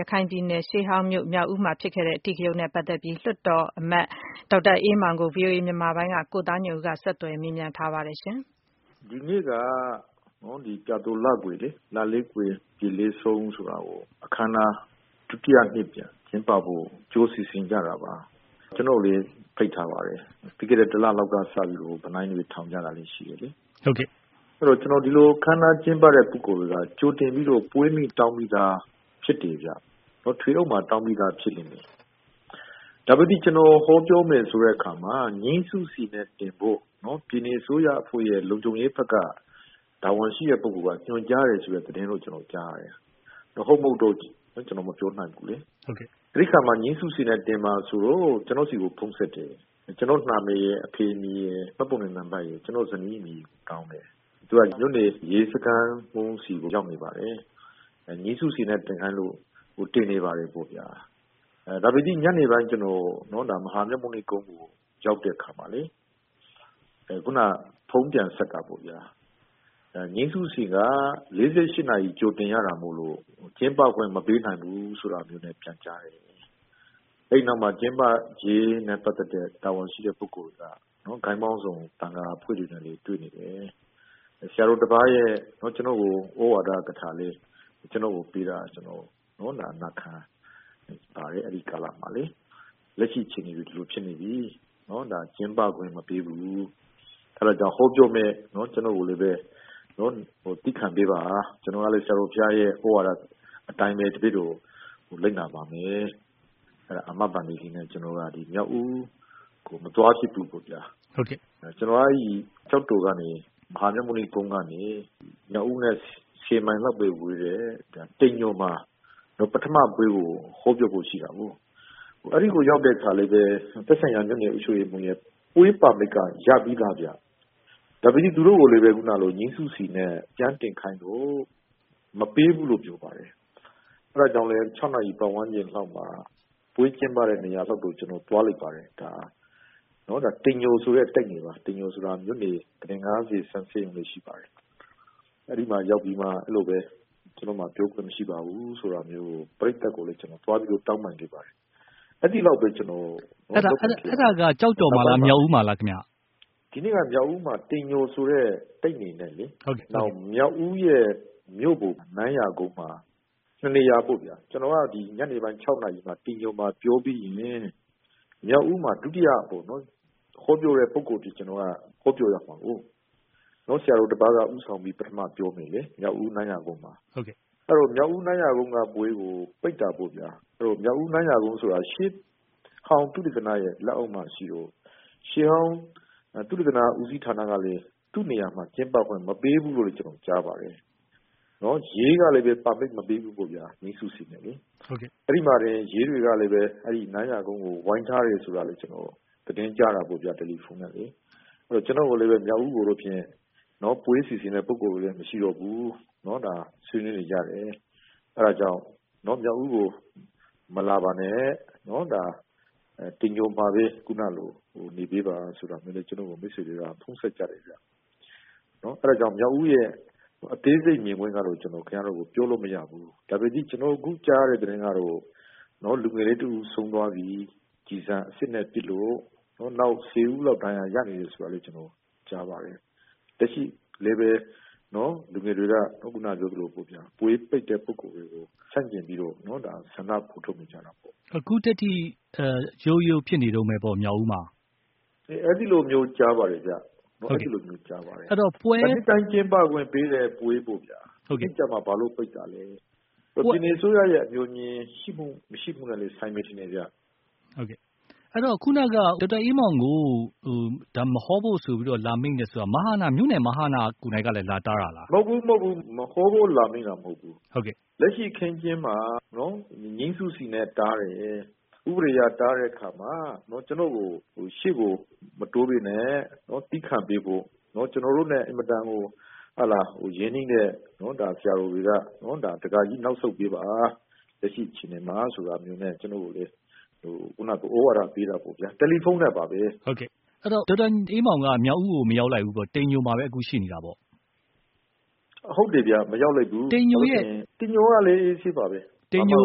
ရခိုင်ပြည်နယ် ရှေးဟောင်းမြို့ မြောက်ဦးမှာ ဖြစ်ခဲ့တဲ့အဓိကရုဏ်းနဲ့ပတ်သက်ပြီး လွှတ်တော် အမတ် ဒေါက်တာ အေးမောင်ကို ဗွီအိုအေ မြန်မာပိုင်းက ကိုသားညွန့်ဦး ဆက်သွယ်မေးမြန်းထားပါတယ်။ ဒီနေ့က ပြာသိုလကွယ်လေ။ လလည်းကွယ် ပြည်လည်းဆုံး ဆိုတာကို အခမ်းအနား ဒုတိယ အကြိမ် ပြန်ကျင်းပဖို့ကြို စီစဉ်ကြတာပါ။ ကျနော့်ကိုလည်း ဖိတ်ထားပါတယ်။ လွန်ခဲ့တဲ့ တလလောက်က စပြီးတော့ ဗန်နိုင်းတွေ ထောင်ကြတာတွေ ရှိတယ်လေ။ ဟုတ်ကဲ့။ အဲတော့ ဒီလို အခမ်းအနား ကျင်းပတဲ့ ပုဂ္ဂိုလ်တွေက ကြိုတင်ပြီးတော့ ပွဲမိန့်တောင်းပြီးသား ဖြစ်တယ်ဗျ။ ထွေအုပ်မှာ တောင်းပြီးသား ဖြစ်လိမ့်မယ်။ ဒါပေသိ ကျနော် ဟောပြောမယ် ဆိုတဲ့ အခါမှာ ငြိမ်းစုစီနဲ့တင်ဖို့ နော် ပြည်နယ် အစိုးရအဖွဲ့ရဲ့ လုံခြုံရေးဘက်က တာဝန်ရှိတဲ့ ပုဂ္ဂိုလ်က ညွှန်ကြားတယ် ဆိုတဲ့ သတင်းတော့ ကျနော် ကြားတယ်။ ဟုတ် မဟုတ်တော့ ကျနော် မပြောနိုင်ဘူးလေ။ ဟုတ်ကဲ့။ အဲဒီမှာ ငြိမ်းစုစီနဲ့ တင်ပါဆိုတော့ ကျနော့်ဆီကို ဖုန်းဆက်တယ်။ ကျနော့် နာမည်ရယ်၊ အဖေ အမည်ရယ်၊ မှတ်ပုံတင် နံပတ်ရယ်၊ ကျနော့် ဇနီးအမည်ကို တောင်းတယ်။ သူက မြို့နယ် ရဲစခန်းမှူးစီ ရောက်နေပါတယ်။ ငြိမ်းစုစီနဲ့ တင်ခိုင်းလို့တင်နေပါတယ် ပေါ့ဗျာ။ ဒါပေသိ ညနေပိုင်း ကျနော် မဟာမြတ်မုနိ ကုန်းကို ရောက်တဲ့အခါမှာလေ ခုန ဖုန်းပြန်ဆက်တာပေါ့ဗျာ။ ငြိမ်းစုစီက ၄၈ နာရီ ကြိုတင်ရတာမို့လို့ ကျင်းပခွင့် မပေးနိုင်ဘူး ဆိုတာမျိုးနဲ့ ပြန်ကြားတယ်။ အဲဒီနောက်မှာ ကျင်းပရေးနဲ့ ပတ်သက်တဲ့ တာဝန်ရှိတဲ့ ပုဂ္ဂိုလ်တွေက ဂိုဏ်းပေါင်းစုံ သံဃာ အဖွဲ့တွေနဲ့လည်း တွေ့နေတယ်။ ဆရာတော် တပါးရဲ့ ကျနော့်ကို သြဝါဒကထာလည်း ကျနော့်ကို ပေးတာ ကျနော် နာခံပါတယ်။ အဲဒီကာလမှာလေ။ လက်ရှိ အခြေအနေတွေ ဒီလို ဖြစ်နေပြီ။ ဒါ ကျင်းပခွင့်မပေးဘူး။ အဲဒါကြောင့် ဟောပြောမယ့် ကျနော့်ကိုလည်းဘဲ သည်းခံပေးပါ။ ကျနော်ကလည်း ဆရာတော် ဘုရားရဲ့ သြဝါဒ အတိုင်းဘဲ တပည့်တော် လိုက်နာပါမယ်။ အဲဒါ အာမဘန္တေလေးနဲ့ ကျနော်က မြောက်ဦးကို မသွားဖြစ်ဖူးပေါ့ဗျာ။ ဟုတ်ကဲ့။ ကျနော်က အဲဒီ ကျောက်တော်ကနေ မဟာမြတ်မုနိကုန်းကနေ မြောက်ဦးနဲ့ ၁၀ မိုင်လောက်ဘဲ ဝေးတဲ့ တိမ်ညိုမှာ ပထမ ပွဲကို ဟောပြောဖို့ ရှိတာကိုး။ အဲဒီကို ရောက်တဲ့ အခါလည်းဘဲ သက်ဆိုင်ရာ ရပ်ကွက် အုပ်ချုပ်ရေးမှူးရဲ့ ပွဲပါမစ်က ရပြီးသားဗျ။ ဒါပေသိ သူတို့ကိုလည်း ခုနကလို ငြိမ်းစုစီနဲ့ ပြန်တင်ခိုင်းလို့ မပေးဘူးလို့ ပြောပါတယ်။ အဲဒါကြောင့်လည်း ၆ နာရီ ပတ်ဝန်းကျင် လောက်မှာ ပွဲကျင်းပတဲ့ နေရာလောက်တော့ ကျနော် သွားလိုက်ပါတယ်။ ဒါ တိမ်ညိုဆိုတဲ့ တိုက်နယ်ပါ။ တိမ်ညိုဆိုတာ မြို့နယ် ကုတင် ၅၀ ဆန့် ဆေးရုံတွေ ရှိပါတယ်။အဲဒီမှာ ရောက်ပြီးမှ အဲလိုဘဲ ကျနော့်မှာ ပြောခွင့် မရှိပါဘူး ဆိုတာမျိုး ပရိသတ်ကိုလည်း ကျနော် သွားပြီးတော့ တောင်းပန်တယ်။ အဲဒီလောက်ဘဲ ကျနော်….. အဲဒါက ကျောက်တော်မှာလား၊ မြောက်ဦးမှာလား ခင်ဗျ။ ဒီနေ့က မြောက်ဦးမှာ တိမ်ညိုဆိုတဲ့ တိုက်နယ်လေ။ နောက် မြောက်ဦးရဲ့ မြို့ပေါ် နန်းရာကုန်းမှာ ၂ နေရာပေါ့ဗျာ။ ကျနော်က ညနေပိုင်း ၆ နာရီ လောက်မှာ တိမ်ညိုမှာ ပြောပြီးရင် မြောက်ဦးမှာ ဒုတိယ ဟောပြောတဲ့ ပုဂ္ဂိုလ် အဖြစ် ကျနော်က ဟောပြောရမှာကိုး။ ဆရာတော် တပါးက ဦးဆောင်ပြီး ပထမ ပြောမယ်လေ။ မြောက်ဦး နန်းရာကုန်းမှာ ။ အဲတော့ မြောက်ဦး နန်းရာကုန်းက ပွဲကို ပိတ်တာပေါ့ဗျာ။ မြောက်ဦး နန်းရာကုန်း ဆိုတာ ရှေးဟောင်း သုတေသနရဲ့ လက်အောက်မှာ ရှိတော့ ရှေးဟောင်း သုတေသန ဦးစီးဌာန ကလည်း သူ့နေရာမှာ ကျင်းပခွင့် မပေးဘူးလို့လည်း ကျနော် ကြားပါတယ်။ နော် ရဲကလည်းဘဲ ပါမစ် မပေးဘူးပေါ့ဗျာ။ ငြိမ်းစုစီနဲ့။ အဲဒီမှာဘဲ ရဲတွေကလည်းဘဲ အဲဒီ နန်းရာကုန်းကို ဝိုင်းထားတယ် ဆိုတာလည်းဘဲ ကျနော် သတင်းကြားတာပေါ့ဗျာ။ တယ်လီဖုန်းနဲ့။ အဲတော့ ကျနော့်ကိုလည်းဘဲ မြောက်ဦးကိုတော့ဖြင့် ပွဲစီစဉ်တဲ့သူတွေလည်း မရှိတော့ဘူး။ နော် ဒါ ဆွေးနွေးနေကြတယ်။ အဲဒါကြောင့် မြောက်ဦးကို မလာပါနဲ့။ နော် ဒါ တိမ်ညိုမှာဘဲ ခုနလို နေပေးပါဆိုတာမျိုးနဲ့ ကျနော့်ကို မိတ်ဆွေတွေက ဖုန်းဆက် ကြတယ် ခင်ဗျ။ အဲတော့ မြောက်ဦးရဲ့ အသေးစိတ် မြင်ကွင်းကတော့ ကျနော် ခင်ဗျားတို့ကို ပြောလို့ မရဘူး။ ဒါပေသိ ကျနော် အခုကြားရတဲ့ သတင်းကတော့ လူုငယ်လေး တဦး ဆုံး သွားပြီ။ ကျည်ဆန် အစစ်နဲ့ ပစ်လို့။ နောက် ၁၀ ဦးလောက် ဒဏ်ရာရနေတယ်ဆိုတာ ကျနော် ရပါတယ်။ လက်ရှိလည်းဘဲ လူငယ်တွေက ခုန ပြောသလိုပေါ့ ပွဲပိတ်တဲ့ ပုဂ္ဂိုလ်တွေကို ဆက်ပြီးတော့ ဆန္ဒဖော်ထုတ်နေကြတာပေါ့။ အခုထက်ထိ ရုတ်တ်ရုတ် ရုတ်ရုတ် ဖြစ်နေတုန်းဘဲပေါ့။ မြောက်ဦးမှာ။ အဲသည်လိုမျိုး ကြားပါတယ် ခင်ဗျ။ အဲသည်လိုမျိုး ကြားပါတယ်။ နှစ်တိုင်းကျင်းပခွင့် ပေးတဲ့ပွဲပေါ့ဗျာ။ အခုကျမှ ဘာလို့ ပိတ်တာလဲ။ ပြည်နယ အစိုးရရဲ့ အငြိုအငြင် ရှိမှု၊ မရှိမှုနဲ့လည်း ဆိုင်မယ် ထင်တယ်ဗျ။ ဟုတ်ကဲ့။ အဲတော့ ခုနက ဒေါက်တာ အေးမောင်ကို မဟောဖို့ ဆိုပြီး လာမိန့်တယ် ဆိုတာက မြို့နယ် မဟန ကိုယ်တိုင်က လာတားတာလား။ မဟုတ်ဘူး။ မဟုတ်ဘူး။ မဟောဖို့ လာမိန့်တာ မဟုတ်ဘူး။ လက်ရှိ အခင်းအကျင်းမှာနော် ငြိမ်းစုစီနဲ့ တားတယ်။ ဥပဒေ အရ တားတဲ့ အခါမှာ ကျနော့်ကို ရှေ့ကို မတိုးဘဲနဲ့ သည်းခံပေးဖို့ ကျနော်တို့နဲ့ အင်မတန် ဟို ရင်းနှီးတဲ့ ဒါ ဆရာတော်တွေက ဒကာကြီး နောက်ဆုတ်ပေးပါ။ လက်ရှိ အခြေအနေမှာ ဆိုတာမျိုးနဲ့ ကျနော့်ကိုလည်း ခုနလို မိန့်တာပေါ့ဗျာ။ တယ်လီဖုန်းနဲ့ပါဘဲ။ ဟုတ်ကဲ့။ အဲတော့ ဒေါက်တာ အေးမောင်က မြောက်ဦးကို မရောက်လိုက်ဘူးပေါ့။ တိမ်ညိုမှာဘဲ အခု ရှိနေတာပေါ့။ ဟုတ်တယ်ဗျ။ မရောက်လိုက်ဘူး။ တိမ်ညိုကလည်း အေးဆေးပါဘဲ။ တိမ်ညိုက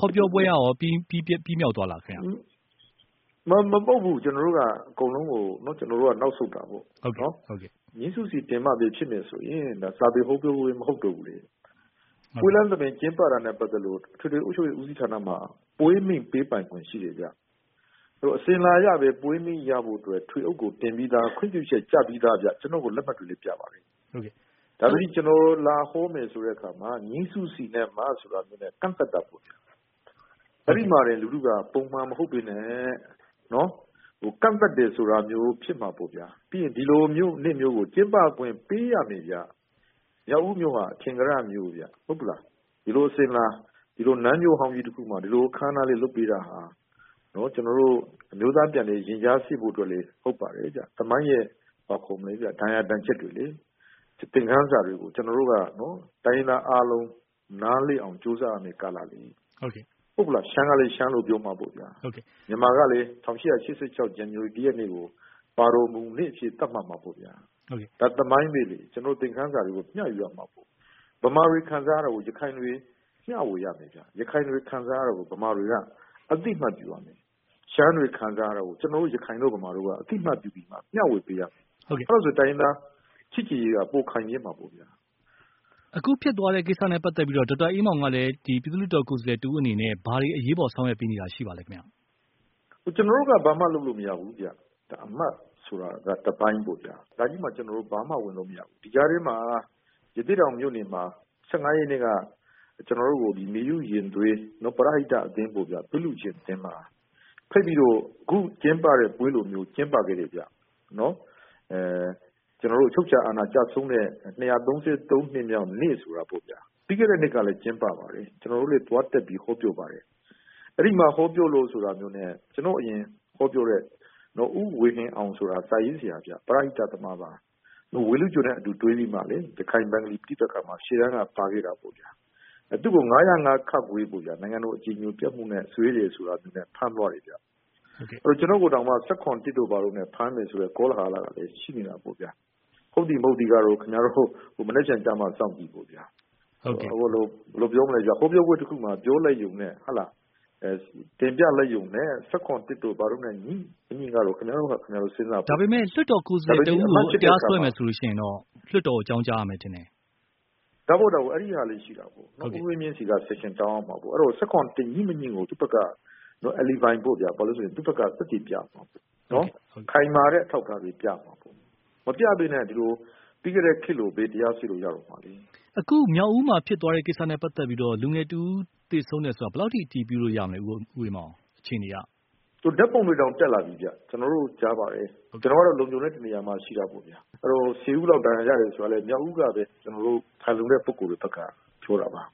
ဟောပြောပွဲကရော ပြီးမြောက်သွားလားဗျ။ မဟုတ်ဘူး။ ကျနော်တို့က အကုန်လုံးကို ကျနော်တို့က နောက်ဆုတ်တာပေါ့။ ငြိမ်းစုစီ တင်မှဘဲ ဖြစ်မယ်ဆိုရင် ဒါ စာပေဟောပြောပွဲ မဟုတ်တော့ဘူးလေ။ ပွဲလမ်းသဘင် ကျင်းပတာနဲ့ပတ်သက်လို့ အထွေထွေ အုပ်ချုပ်ရေးမှူး ဦးစီးဌာနမှာ ပွဲမိန့် ပေးပိုင်ခွင့် ရှိတယ်ဗျ။ အစဉ်အလာလည်း ပွဲမိန့်ရဖို့ အတွက် ထွေအုပ်ကို တင်ပြီးသား။ ခွင့်ပြုချက် ကျပြီးသားဗျ။ ကျနော့်ကို လက်မှတ်တွေလည်း ပြပါတယ်။ ဒါပေသိ ကျနော် လာဟောမယ် ဆိုတဲ့ အခါမှာ ငြိမ်းစုစီ နဲ့မှ ဆိုတာမျိုးနဲ့ ကန့်သတ်တာပေါ့ဗျာ။ အဲဒီမှာတင် လူထုက ပုံမှန်မဟုတ်ပေမယ့် ကန့်သတ်တယ် ဆိုတာမျိုး ဖြစ်မှာပေါ့ဗျာ။ ပြီးရင် ဒီလိုမျိုး နေ့မျိုးကို ကျင်းပခွင့် ပေးရမယ်ဗျ။ မြောက်ဦးမြို့က အထင်ကရ မြု့ိဗျ။ ဟုတ်ပလား။ ဒီလို အစဉ်အလာ ဒီလိုနန်းမြို့ဟောင်းကြီးမှာ ဒီလို အခမ်းအနားလေး လုပ်ပေးတာဟာ ကျနော်တို့ အမျိုးသား ပြန်လည် ရင်ကြားစေ့ဖို့အတွက်လည်း ဟုတ်ပါတယ်ဗျ။ သမိုင်း ရဲ့ ဒဏ်ရာဒဏ်ချက်တွေလေ။ သင်ခန်းစာတွေကို ကျနော်တို့က တိုင်းရင်းသား အားလုံး နားလည်အောင် ကြိုးစားရမယ့် ကာလလေ။ ဟုတ်ကဲ့။ ဟုတ်ဘူးလားဗျာ။ ရှမ်းကလည်း ရှမ်းလို ပြောမှာပေါ့ဗျာ။ မြန်မာကလည်း ၁၈၈၆ ဇန်နဝါရီလ ၁ ရက်နေ့ကို ပါတော်မူနေ့ အဖြစ် သတ်မှတ်မှာပေါ့ဗျာ။ ဒါ သမိုင်းဘဲလေ။ ကျနော်တို့ သင်ခန်းစာတွေကို မ ျှယူရမှာပေါ့။ ဗမာတွေခံစားရတာကို ရခိုင်တွေ မျှဝေရမယ်ဗျ။ ရခိုင်တွေ ခံစားရတာကို ဗမာတွေက အသိအမှတ်ပြုရမယ်။ ရှမ်းတွေခံစားရတာကို ကျနော်တို့ ရခိုင်တို့ ဗမာတို့က အသိအမှတ်ပြုပေးရမယ် မျှဝေပေးရမယ်။ အဲလိုဆို တိုင်းရင်းသား ချစ်ကြည်ရေးက ပိုခိုင်မြဲမှာပေါ့ဗျာ။ အခုဖြစ်သွားတဲ့ ကိစ္စနဲ့ပတ်သက်ပြီးတော့ ဒေါက်တာအေးမောင်ကလည်း ဒီပြည်သူ့လွှတ်တော် ကိုယ်စားလှယ် တဦးအနေနဲ့ ဘာတွေ အရေးပေါ် ဆောင်ရွက်ပေးနေတာ ရှိပါသလဲ ခင်ဗျ။ ဒါ ကျနော်တို့က ဘာမှ လုပ်လို့မရဘူးဗျ။ ဒါ အမတ် ဆိုတာက တပိုင်းပေါ့ဗျာ။ ဒါကြီးမှာ ကျနော်တို့ ဘာမှ ဝင်လို့မရဘူး။ ဒီကြားထဲမှာ ရသေ့တောင်မြို့နယ်မှာ ၁၅ ရက်နေ့က ကျနော်တို့ကို မေယုရင်သွေး ပရဟိတအသင်း သွေးလှုုရှင် အသင်းမှာ ဖိတ်ပြီးတော့ အခုကျင်းပတဲ့ ပွဲလိုပဲ ကျင်းပခဲ့တယ်ဗျနော်။ ကျနော်တို့ အချုပ်အခြာအဏာ ကျဆုံးတဲ့ ၂၃၃ နှစ်မြောက်နေ့ဆိုတာပေါ့ဗျာ။ ပြီးခဲ့တဲ့ နှစ်ကလည်း ကျင်းပပါတယ်။ ကျနော်တို့လည်း သွားတက်ပြီး ဟောပြောပါတယ်။ အဲဒီမှာ ဟောပြောလို့ဆိုပြီး ကျနော့်အရင် ဟောပြောတဲ့ ဦးဝေဟင်အောင် ဆိုတာ စာရေးဆရာဗျ။ ပရဟိတ သမားပါ။ ဝေလုကျော်နဲ့ အတူတွဲပြီးတော့လေ ဘင်္ဂလီ ပဋိပက္ခမှာ ရှေ့တန်းက ပါခဲ့တာပေါ့ဗျာ။ သူ့ကို ၅၀၅ ပေါ့ဗျာ နိုင်ငံတော် အကြည်ညိုပျက်မှုနဲ့ စွဲတယ် ဆိုတာမျိုးနဲ့ ဖမ်းသွားတယ်ဗျ။ ကျနော့ကိုတောင်မှ ၁၇ တို့ဘာတို့နဲ့ ဖမ်းမယ်ဆိုတဲ့ ကောလဟာလကလည်း ရှိနေတာပေါ့ဗျာ။ ဟုတ်သည် မဟုတ်သည်ကတော့ ခင်ဗျားတို့ မနက်ဖန်ကျမှ စောင့်ကြည့်ပေါ့ဗျာ။ ဘယ်လိုပြောမလည်းဗျာ၊ ဟောပြောပွဲတခုမှာ ပြောလိုက်ရုံနဲ့ ဟုတ်လား၊ တင်ပြလိုက်ရုံနဲ့ ၁၇ တို့ ဘာတို့နဲ့ ငြိမငြိကတော့ ခင်ဗျားတို့ဟာ ခင်ဗျားတို့ စဉ်းစားပေါ့ဗျ။ ဒါပေမယ့် လွှတ်တော်ကိုယ်စားလှယ် တဦးကို တရားစွဲမယ် ဆိုလို့ရှိရင်တော့ လွှတ်တော်ကို အကြောင်းကြားရမယ်ထင်တယ်။ ဒါပေါ့ဒါပေါ့။ အဲဒီဟာလည်း ရှိတာပေါ့။ ဦးဝင်းမြင့်ဆီက ဆက်ရှင်တောင်းရမှာပေါ့။ ၁၇ နဲ့ ငြိမငြိကို သူ့ဘက်က အလီဘိုင် ပေါ့ဗျာ၊ သူ့ဘက်က သက်သေပြရမှာပေါ့နော်။ ခိုင်မာတဲ့ အထောက်အထားတွေ ပြရမှာပေါ့။ မပြပဲနဲ့ ဒီလို၊ ပြီးခဲ့တဲ့ ခေတ်လို ဘယ်တရားစွဲလို့ ရတော့မှာလည်း။ အခု မြောက်ဦးမှာ ဖြစ်သွားတဲ့ ကိစ္စနဲ့ ပတ်သက်ပြီးတော့ လူငယ်တဦး သေဆုံးတယ်ဆိုတာ ဘယ်လောက်အထိ အတည်ပြုလို့ရမလဲ ဦး အေးမောင်၊ အခြေနေက။ ဓါတ်ပုံတွေတောင် တက်လာပြီဗျ။ ကျနော်တို့ ကြားပါတယ်။ ကျနော်ကတော့ လုံခြုံတဲ့ တနေရာမှာ ရှိတာပေါ့ဗျာ။ အဲတော့ ၁၀ ဦးလောက် ဒဏ်ရာရတယ် ဆိုတာကလည်း မြောက်ဦးကပဲ။ ကျနော်တို့ ခိုင်လုံတဲ့ ပုဂ္ဂိုလ်တွေ ဘက်က ပြောတာပါ။